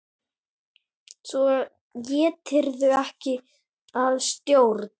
Svo létirðu ekki að stjórn.